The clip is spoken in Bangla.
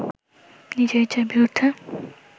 নিজের ইচ্ছার বিরুদ্ধে